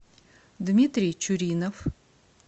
дмитрий чуринов